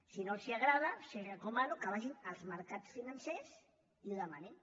si no els agrada els recomano que vagin als mercats financers i que ho demanin